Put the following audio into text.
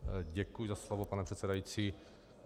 Děkuji za slovo, pane předsedající.